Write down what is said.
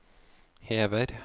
hever